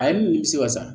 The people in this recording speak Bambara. A ye ne nimisi wasa